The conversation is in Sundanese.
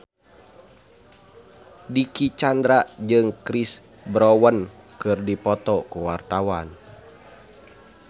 Dicky Chandra jeung Chris Brown keur dipoto ku wartawan